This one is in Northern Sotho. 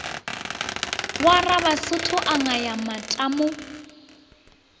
wa rabasotho a ngaya matamo